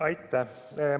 Aitäh!